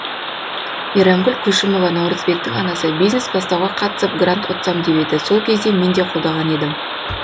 мейрамгүл көшімова наурызбектің анасы бизнес бастауға қатысып грант ұтсам деп еді сол кезде мен қолдаған едім